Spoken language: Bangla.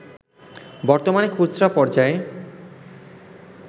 বর্তমানে খুচরা পর্যায়ে